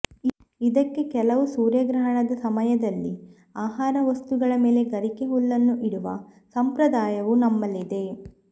ಇದಕ್ಕೇ ಕೆಲವು ಸೂರ್ಯಗ್ರಹಣದ ಸಮಯದಲ್ಲಿ ಆಹಾರ ವಸ್ತುಗಳ ಮೇಲೆ ಗರಿಕೆ ಹುಲ್ಲನ್ನು ಇಡುವ ಸಂಪ್ರದಾಯವೂ ನಮ್ಮಲ್ಲಿದೆ